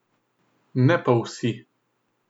Ne pa vsi.